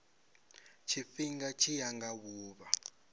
tshifhinga tshi ya nga vhuvha